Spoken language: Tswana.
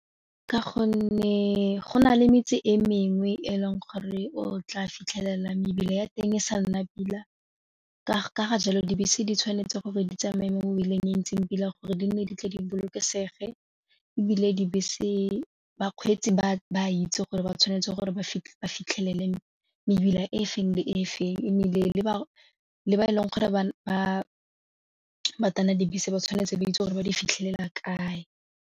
Ka gonne go na le metse e mengwe e leng gore o tla fitlhela mebila ya teng e sa nna pila ka ga jalo dibese di tshwanetse gore di tsamaye mo e leng e ntseng pila gore di nne di tle di bolokesege ebile dibese bakgweetsi ba ba itse gore ba tshwanetse gore ba fitlhelele mebila e feng le e feng ebile le ba e leng gore ba tana dibese ba tshwanetse ba itse gore ba di fitlhelela kae.